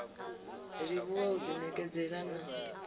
livhuwa u ḓi ṋekedzela na